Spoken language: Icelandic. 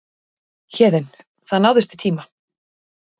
Héðinn: Það náðist í tíma?